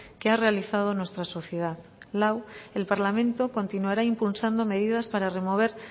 que ha realizado nuestra sociedad lau el parlamento continuará impulsando medidas para remover